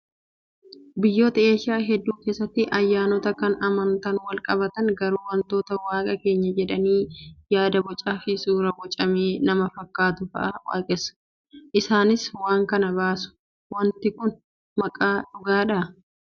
Biyyoota eeshiyaa hedduu keessatti ayyanota kan amantaan wal qabatn garuu wanta waaqa keenya jedhanii yaada bocaa fi suuraa bocamee nama fakkaatu fa'aa waaqessu. Isaanis waan kana baasu. Wanti kun waaqa dhugaadhàa?